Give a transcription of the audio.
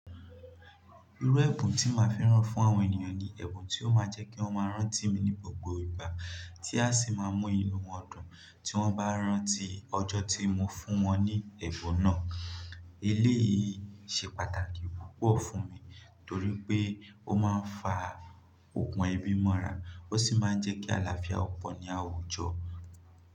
Irú ẹ̀bùn tí màá fẹ́ràn fún àwọn ènìyàn ni ẹ̀bùn tí ó máa jẹ́ kí wọ́n máa rántí mi ní gbogbo ìgbà tí a sì máa mú ìnù wọn dùn tí wọ́n bá rántí ọjọ́ tí mo fún wọn ní ẹ̀bùn náà. Eléyìí ṣe pàtàkì púpọ̀ fún mi torí pé ó máa ń fa ògùn ebí mọ́ra, ó sì máa ń jẹ́ kí àlàáfíà pọ̀ ní àwùjọ.